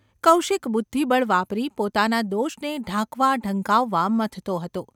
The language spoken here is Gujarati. કૌશિક બુદ્ધિબળ વાપરી પોતાના દોષને ઢાંકવા-ઢંકાવવા મથતો હતો.